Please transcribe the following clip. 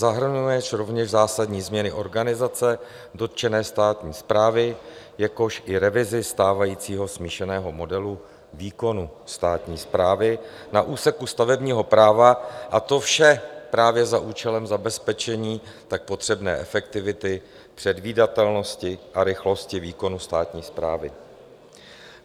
Zahrnuje rovněž zásadní změny organizace dotčené státní správy, jakož i revizi stávajícího smíšeného modelu výkonu státní správy na úseku stavebního práva, a to vše právě za účelem zabezpečení tak potřebné efektivity, předvídatelnosti a rychlosti výkonu státní správy.